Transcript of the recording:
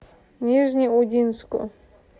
нижнеудинску